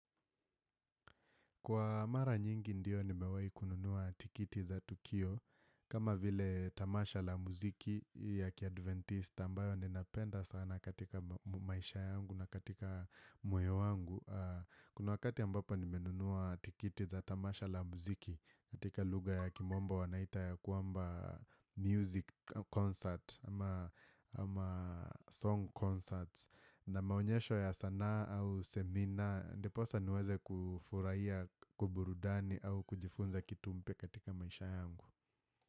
Kwa mara nyingi ndio nimewahi kununua tikiti za tukio kama vile tamasha la muziki ya kiadventista ambayo ninapenda sana katika maisha yangu na katika moyo wangu. Kuna wakati ambapo nimenunua tikiti za tamasha la muziki katika lugha ya kimombo wanaita ya kwamba music concert ama song concerts. Na maonyesho ya sanaa au semina ndiposa niweze kufurahia, kuburudani au kujifunza kitu mpya katika maisha yangu.